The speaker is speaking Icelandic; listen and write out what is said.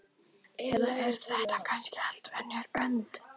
Eða er þetta kannski allt önnur önd?